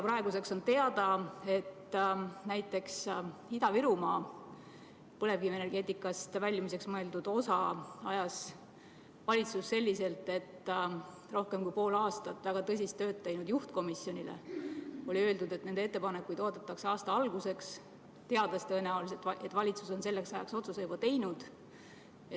Praeguseks on teada, et näiteks Ida-Virumaa põlevkivienergeetikast väljumiseks mõeldud osaga tegeles valitsus selliselt, et rohkem kui pool aastat väga tõsist tööd teinud juhtkomisjonile oli öeldud, et nende ettepanekuid oodatakse aasta alguseks, teades tõenäoliselt, et valitsus on selleks ajaks otsuse juba teinud.